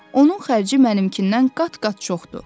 Onun xərci mənimkindən qat-qat çoxdur.